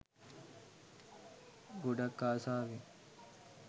ගොඩක් ආසාවෙන්